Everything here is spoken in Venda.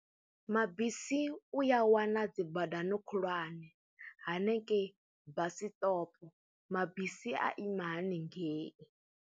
Mabisi u ya wana dzi badani khulwane hanengei basiṱopo, mabisi a ima hanengei.